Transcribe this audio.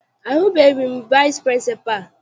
Ahụghị m vici pịrịnsịpalụ.